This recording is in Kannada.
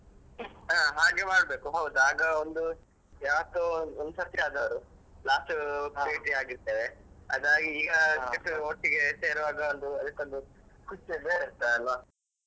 ಹಾ ಹಾಗೆ ಮಾಡ್ಬೇಕು ಹೌದು ಆಗ ಒಂದು ಯಾವತ್ತೋ ಒಂದ್ಸರ್ತಿ last ಬೇಟಿಯಾಗಿದ್ದೇವೆ ಅದಾಗಿ ಈಗ ಇದು ಒಟ್ಟಿಗೆ ಸೇರುವಾಗ ಒಂದು ಅದಕ್ಕೊಂದು ಖುಷಿಯೇ ಬೇರೆ ಇರ್ತದೆ ಅಲ್ವಾ